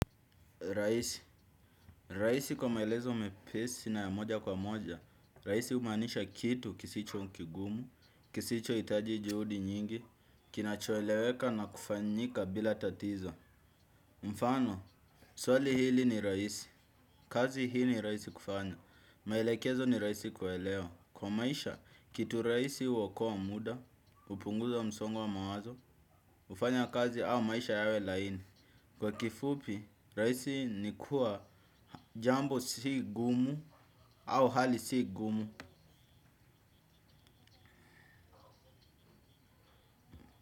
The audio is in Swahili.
Rahisi, rahisi kwa maelezo mepesi na ya moja kwa moja, rahisi humaanisha kitu kisicho kigumu, kisichohitaji juhudi nyingi, kinachoeleweka na kufanyika bila tatizo. Mfano, swali hili ni rahisi, kazi hii ni rahisi kufanya, maelekezo ni rahisi kuelewa. Kwa maisha, kitu rahisi huokoa muda, hupunguza msongo wa mawazo, hufanya kazi au maisha yawe laini. Kwa kifupi, rahisi ni kuwa, jambo si gumu, au hali si gumu.